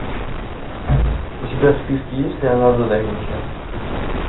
у тебя в списке есть леонардо да винчи